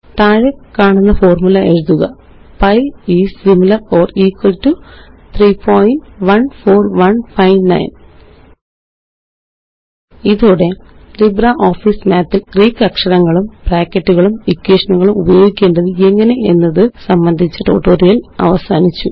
താഴെക്കാണുന്ന formula എഴുതുക pi is similar or equal to 314159 ഇതോടെLibreOffice Mathല് ഗ്രീക്ക് അക്ഷരങ്ങളും ബ്രാക്കറ്റുകളും എക്വേഷനുകളും ഉപയോഗിക്കേണ്ടത് എങ്ങനെ എന്നതു സംബന്ധിച്ച ട്യൂട്ടോറിയല് അവസാനിച്ചു